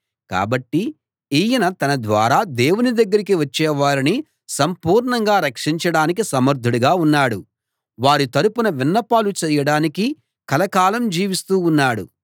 కాబట్టి ఈయన తన ద్వారా దేవుని దగ్గరికి వచ్చేవారిని సంపూర్ణంగా రక్షించడానికి సమర్ధుడుగా ఉన్నాడు వారి తరపున విన్నపాలు చేయడానికి కలకాలం జీవిస్తూ ఉన్నాడు